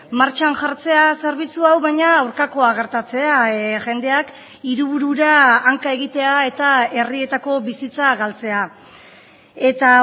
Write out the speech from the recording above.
martxan jartzea zerbitzu hau baina aurkakoa gertatzea jendeak hiriburura hanka egitea eta herrietako bizitza galtzea eta